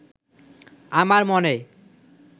আমার মনে